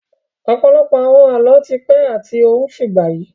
Ọ̀pọ̀lọpọ̀ àwọn Àlọ́ ti pẹ́ àti ó ń fìgbà yi